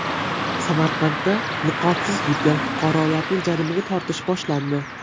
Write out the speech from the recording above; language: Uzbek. Samarqandda niqobsiz yurgan fuqarolarni jarimaga tortish boshlandi.